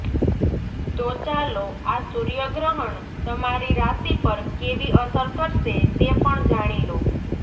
તો ચાલો આ સૂર્યગ્રહણ તમારી રાશિ પર કેવી અસર કરશે તે પણ જાણી લો